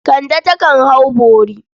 Kande takan hau bori.